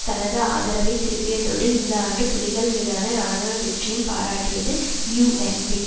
தனது ஆதரவை திருப்பியதோடு இந்த ஆண்டு புலிகள் மீதான இராணுவ வெற்றியும் பாராட்டியது யூஎன்பி